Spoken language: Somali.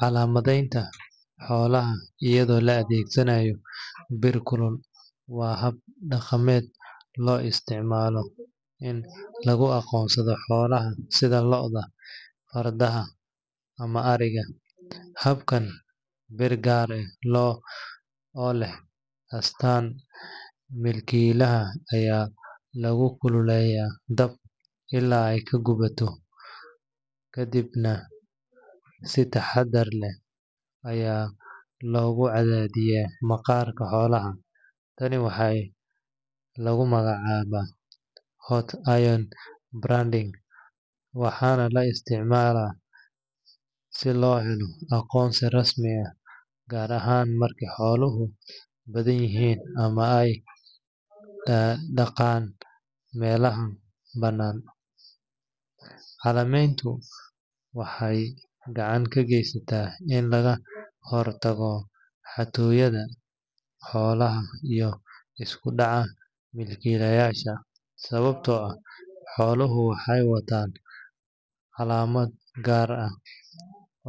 Calaamadeynta xoolaha iyadoo la adeegsanayo bir kulul waa hab dhaqameed loo isticmaalo in lagu aqoonsado xoolaha sida lo’da, fardaha ama ariga. Habkan, bir gaar ah oo leh astaanta milkiilaha ayaa lagu kululeeyaa dab ilaa ay ka gaduudato, kadibna si taxaddar leh ayaa loogu cadaadiyaa maqaarka xoolaha. Tani waxaa lagu magacaabaa hot iron branding, waxaana la isticmaalaa si loo helo aqoonsi rasmi ah, gaar ahaan marka xooluhu badanyihiin ama ay daaqaan meelaha banaan. Calaamadeyntu waxay gacan ka geysataa in laga hortago xatooyada xoolaha iyo isku dhaca milkiilayaasha, sababtoo ah xooluhu waxay wataan calaamad gaar ah